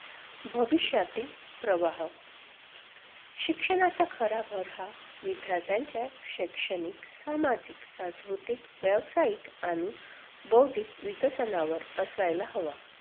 भविष्यातील प्रवाह शिक्षणाचा खरा भर हा विद्यार्थ्यांच्या शैक्षणिक, सामाजिक, सांस्कृतिक, व्यवसायिक आणि बौद्धिक विकसनावर असायला हवा.